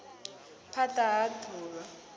phand a ha d uvha